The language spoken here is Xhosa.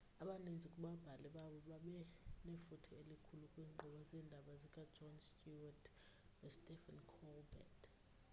abaninzi kubabhali babo babe nefuthe elikhulu kwiinkqubo zeendaba zika-jon stewart no-stephen colbert